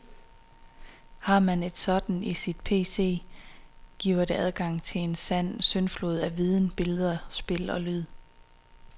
Har man et sådant i sin PC, giver det adgang til en sand syndflod af viden, billeder, spil og lyde.